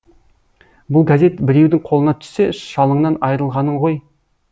бұл газет біреудің қолына түссе шалыңнан айрылғаның ғой